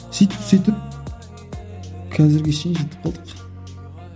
сөйтіп сөйтіп қазірге шейін жетіп қалдық